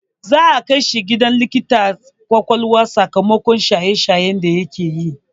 Za'a kai shi ganin likitar ƙwaƙwalwa sakamakon shaye shaye da yake yi.